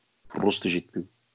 просто жетпеу